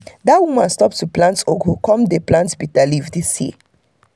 dat woman stop to plant ugu come dey plant bitter leaf this year.